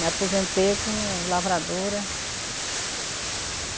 Me aposentei como lavradora.